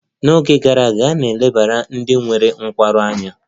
N'oge gara aga, a na-elebara ndị nwere nkwarụ anya.